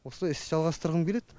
осылай іс жалғастырғым келеді